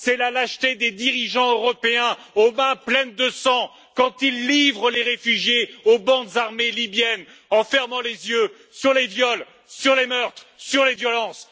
C'est la lâcheté des dirigeants européens aux mains pleines de sang quand ils livrent les réfugiés aux bandes armées libyennes en fermant les yeux sur les viols, sur les meurtres, sur les violences!